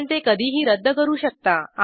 आपण ते कधीही रद्द करू शकता